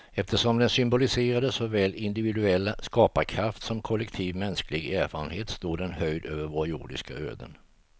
Eftersom den symboliserade såväl individuell skaparkraft som kollektiv mänsklig erfarenhet stod den höjd över våra jordiska öden.